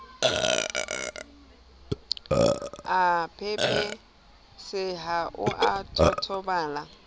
a pepeseha o a totobala